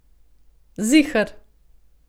Ziher.